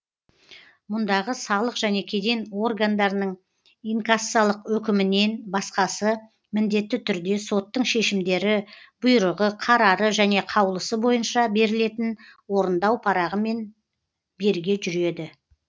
мұндағы салық және кеден органдарының инкассалық өкімінен басқасы міндетті түрде соттың шешімдері бұйрығы қарары және қаулысы бойынша берілетін орындау парағымен берге жүреді